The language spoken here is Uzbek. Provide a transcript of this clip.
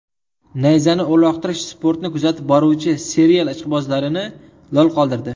Nayzani uloqtirish sportni kuzatib boruvchi serial ishqibozlarini lol qoldirdi.